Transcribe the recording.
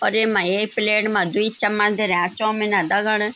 और येमा एक प्लेट मा द्वि चम्मच धर्या चौमिना दगड़।